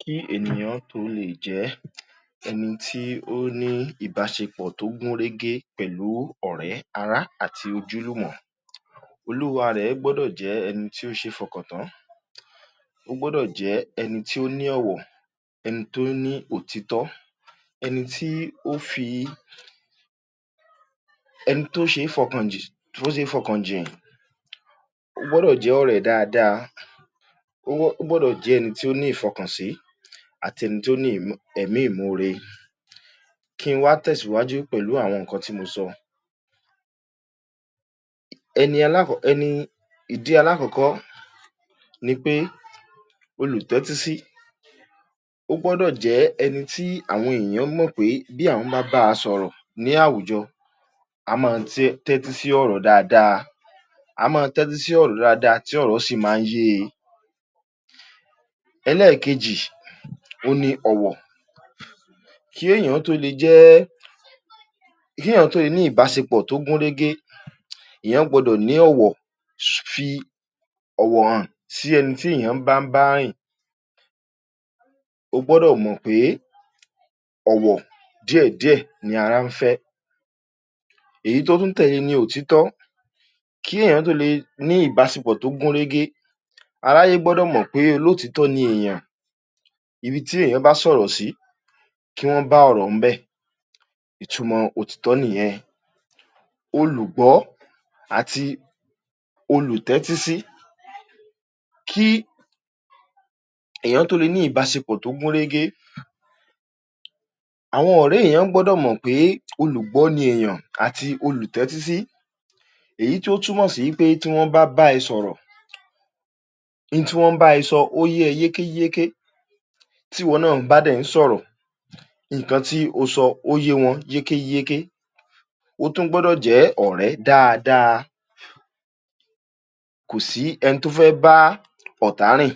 Kí ènìyàn tó leè jẹ́ ẹni tí ó ní ìbáṣepọ̀ tó gún régé pẹ̀lú ọ̀rẹ́, ará àti ojúlùmọ̀, olúwa rẹ̀ gbọ́dọ̀ jẹ́ ẹni tí ó ṣe é fọkàn tán. Ó gbọ́dọ̀ jẹ́ ẹni tí ó ní ọ̀wọ̀, ẹni tó ní òtítọ́, ẹni tí ó fi, ẹni tó ṣe é fọkàn tó ṣe é fọkàn jìn. Ó gbọ́dọ̀ jẹ́ ọ̀rẹ́ dáadáa. Ó ó gbọ́dọ̀ jẹ́ ẹni tó ní ìfọkànsí àti ẹni tó ní ẹ̀mí ìmoore. Kí n wá tẹ̀síwájú pẹ̀lú àwọn nǹkan tí mo sọ. Ẹni ẹni, ìdí alákọ̀ọ́kọ́ ni pé olùtẹ́tísí. Ó gbọ́dọ̀ jẹ́ ẹni tí àwọn èèyàn mọ̀ pé bí àwọn bá bá a sọ̀rọ̀ ní àwùjọ, a máa tẹ́tí sí ọ̀rọ̀ dáadáa. A máa tẹ́tí sí ọ̀rọ̀ dáadáa tí ọ̀rọ̀ sì máa ń yé e. Ẹlẹ́ẹ̀kejì, òun ni ọ̀wọ̀. Kí èèyàn ó tó le jẹ́, kí èèyàn tó le ní ìbásepọ̀ tó gún régé, èèyàn gbọdọ̀ ní ọ̀wọ̀, fi ọ̀wọ̀ hàn sẹ́ni téèyàn bá ń bá rìn. O gbọ́dọ̀ mọ̀ pé ọ̀wọ̀ díẹ̀díẹ̀ ni ara ń fẹ́. Èyí tó tún tẹ̀le ni òtítọ́. Kí èèyàn tó le ní ìbásepọ̀ tó gún régé, aráyé gbọ̀dọ̀ mọ̀ pé olótìítọ́ ni èèyàn. Ibi tí èèyàn bá sọ̀rọ̀ sí, kí wọ́n bá ọ̀rọ̀ ńbẹ̀. Ìtumọ̀ òtítọ́ nìyẹn. Olùgbọ́ àti olùtẹ́tísí: kí èèyàn tó le ní ìbásepọ̀ tó gún régé, àwọn ọ̀rẹ́ èèyàn gbọ́dọ̀ mọ̀ pé olùgbọ́ ni èèyàn àti olùtẹ́tísí, èyí tí ó túmọ̀ sí wí pé tí wọ́n bá bá ẹ sọ̀rọ̀, in tí wọ́n ń bá ẹ sọ ó yé ẹ yékéyéké. Tíwọ náà bá dẹ̀ ń sọ̀rọ̀, nǹkan tí o sọ ó yé wọn yékéyéké. Ó tún gbọ́dọ̀ jẹ́ ọ̀rẹ́ dáadáa. Kò sí ẹni tó fẹ́ bá ọ̀tá rìn.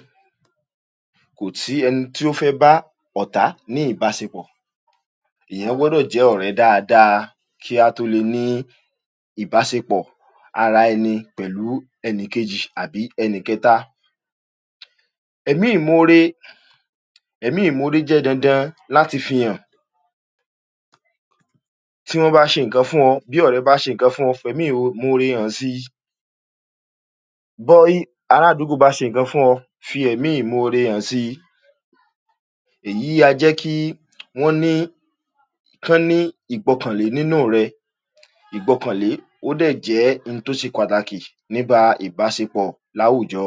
Kò sí ẹni tó bá ọ̀tá ní ìbásepọ̀. Èèyàn gbọ́dọ̀ jẹ́ ọ̀rẹ́ dáadáa, kí á tó lè ní ìbásepọ̀ ara ẹni pẹ̀lú ẹnìkejì àbí ẹnìkẹta. Ẹ̀mí ìmoore: ẹ̀mí ìmoore jẹ́ dandan láti fihàn. Tí wọ́n bá ṣe nǹkan fún ọ, bí ọ̀rẹ́ bá ṣe nǹkan fún ọ, fẹ̀mí ìmoore hàn sí i. Ará àdúgbò bá ṣe nǹkan fún ọ, fi ẹ̀mí ìmoore hàn sí i. Èyí a jẹ́ kí wọ́n ní, kán ní ìgbọkànlé nínú rẹ. Ìgbọkànlé ó dẹ̀ jẹ́ in tó ṣe pàtàkì níba ìbásepọ̀ láwùjọ.